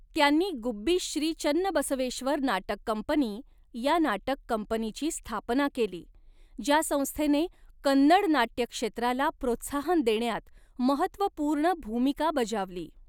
त्यांनी गुब्बी श्री चन्नबसवेश्वर नाटक कंपनी या नाटक कंपनीची स्थापना केली, ज्या संस्थेने कन्नड नाट्य क्षेत्राला प्रोत्साहन देण्यात महत्त्वपूर्ण भूमिका बजावली.